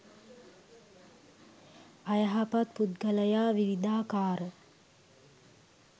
අයහපත් පුද්ගලයා විවිධාකාර